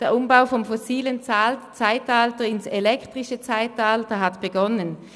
Der Umbau vom fossilen ins elektrische Zeitalter hat begonnen.